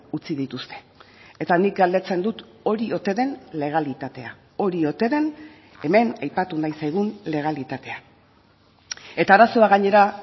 utzi dituzte eta nik galdetzen dut hori ote den legalitatea hori ote den hemen aipatu nahi zaigun legalitatea eta arazoa gainera